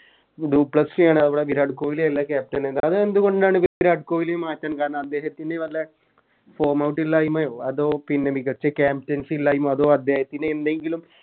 do Plessis ആണ് അവിടെ വിരാട്ട് കോഹ്ലി അല്ല Captain അതെന്തുകൊണ്ടാണ് വിരാട്ട് കോഹ്ലിയെ മാറ്റാൻ കാരണം അദ്ദേഹത്തിന് വല്ല Form out ഇല്ലായിമയോ അതോ പിന്നെ മികച്ച Captaincy ഇല്ലായ്മ അതോ അദ്ദേഹത്തിന് എന്തെങ്കിലും